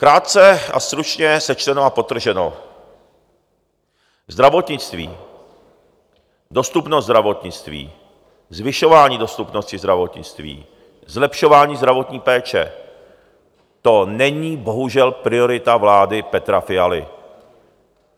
Krátce a stručně sečteno a podtrženo, zdravotnictví, dostupnost zdravotnictví, zvyšování dostupnosti zdravotnictví, zlepšování zdravotní péče - to není bohužel priorita vlády Petra Fialy.